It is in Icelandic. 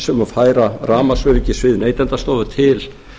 um að færa rafmagnsöryggissvið neytendastofu til